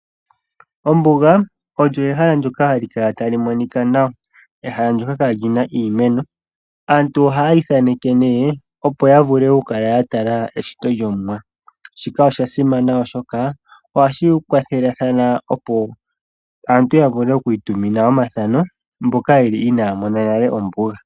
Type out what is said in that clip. Ombuga olyo ehala ndyoka hali kala tali monika nawa. Ehala ndyoka kali na iimeno. Aantu ohayi thaneke nee, opo ya vule oku kala ya tala eshito lyOmuwa. Shika osha simana oshoka ohashi kwathelathana, opo aantu ya vule oku itumina omathano, mboka yeli inaya mona nale ombuga.